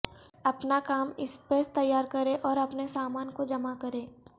اپنا کام اسپیس تیار کریں اور اپنے سامان کو جمع کریں